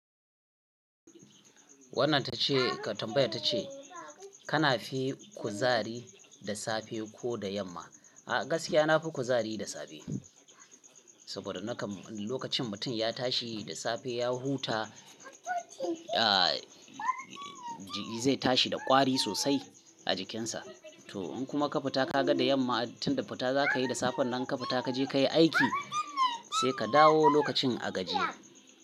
Wannan ta ce tambayar ta ce kana fi kuzari da safe ko da yamma? A gaskiya na fi kuzari da safe. Saboda naka lokacin mutum ya tashi da safe ya huta, a ji zai tashi da kwari sosai a jikinsa. To in kuma ka fita ka ga da yamma tunda fita za ka yi da safen nan ka fita ka je ka yi aiki sai ka dawo lokacin a gajiya.